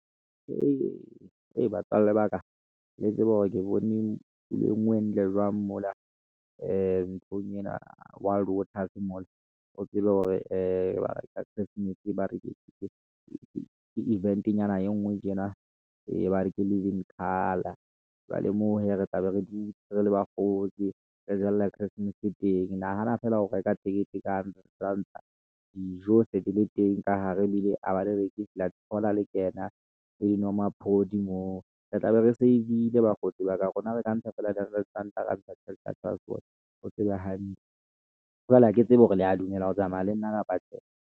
Ee, batswalle ba ka, le tsebe hore ke bone ntho e ngwe entle jwang mola nthong ena Wild Waters mola o tsebe hore ka Christmas-e ba re ke event-nyana, e ngwe tjena e bareng ke Living Colour. Jwale moo hee re tlabe re dutsi re le bakgotsi, re je lla krisimose teng, nahana fela ho reka tekete ka hundred ranta. Dijo se di le teng ka hare ebile ha ba direkisi la ya dithola ha le kena le dinwamaphodi moo re tlabe re save-ile bakgotsi baka rona re ka ntsha feela di-hundred ranta ra ntsha tjhelete ya transport . Jwale ha ke tsebe hore le ya dumela ho tsamaya le nna kapa tjhe.